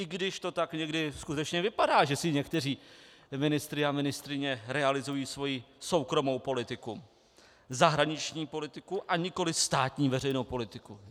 I když to tak někdy skutečně vypadá, že se někteří ministři a ministryně realizují svoji soukromou politiku, zahraniční politiku, a nikoli státní veřejnou politiku.